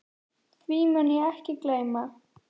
Því mun ég ekki gleyma.